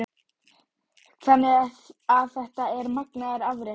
Magnús Hlynur Hreiðarsson: Þannig að þetta er magnaður afréttur?